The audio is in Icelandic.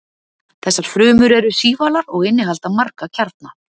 þessar frumur eru sívalar og innihalda marga kjarna